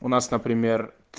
у нас например